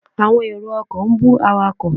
Àwọn èrò ọkọ̀ ń bú awakọ̀.